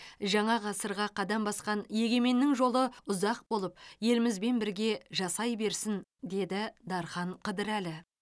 жаңа ғасырға қадам басқан егеменнің жолы ұзақ болып елімізбен бірге жасай берсін деді дархан қыдырәлі